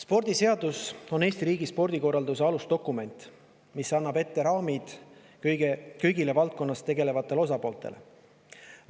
Spordiseadus on Eesti riigi spordikorralduse alusdokument, mis seab raamid kõigile valdkonnas tegelevatele osapooltele.